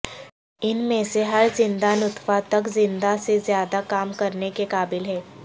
ان میں سے ہر زندہ نطفہ تک زیادہ سے زیادہ کام کرنے کے قابل ہے